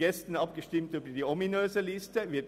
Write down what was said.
Gestern haben wir über diese ominöse Liste abgestimmt.